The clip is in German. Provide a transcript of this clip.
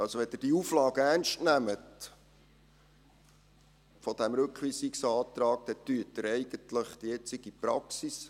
Also, wenn Sie die Auflage dieses Rückweisungsantrags ernst nehmen, dann bestätigen Sie eigentlich die heutige Praxis.